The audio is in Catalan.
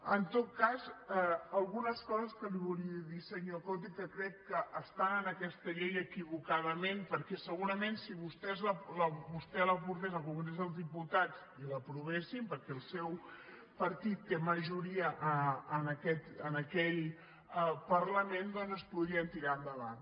en tot cas algunes coses que li volia dir senyor coto i que crec que estan en aquesta llei equivocadament perquè segurament si vostè la portés al congrés dels diputats i l’aprovessin perquè el seu partit té majoria en aquell parlament doncs es podrien tirar endavant